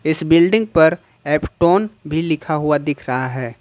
इस बिल्डिंग पर F tone भी लिखा हुआ दिख रहा है।